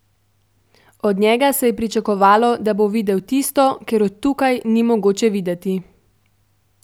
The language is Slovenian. Od njega se je pričakovalo, da bo videl tisto, ker od tukaj ni mogoče videti.